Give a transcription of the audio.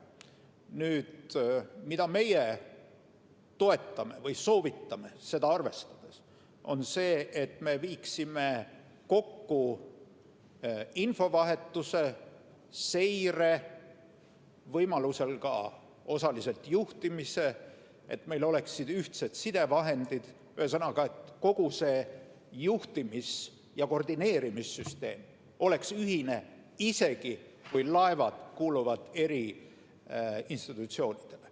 Nüüd, mida meie toetame või soovitame seda raportit arvestades, on see, et me viiksime kokku infovahetuse, seire, võimalusel osaliselt ka juhtimise, et meil oleksid ühtsed sidevahendid – ühesõnaga, et kogu see juhtimis- ja koordineerimissüsteem oleks ühine, isegi kui laevad kuuluvad eri institutsioonidele.